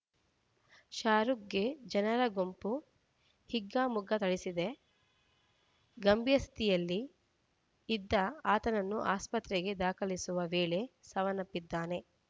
ಶಾರುಖ್‌ಗೆ ಜನರ ಗುಂಪು ಹಿಗ್ಗಾಮುಗ್ಗಾ ಥಳಿಸಿದೆ ಗಂಭೀರ ಸ್ಥಿತಿಯಲ್ಲಿ ಇದ್ದ ಆತನನ್ನು ಆಸ್ಪತ್ರೆಗೆ ದಾಖಲಿಸುವ ವೇಳೆ ಸಾವನ್ನಪ್ಪಿದ್ದಾನೆ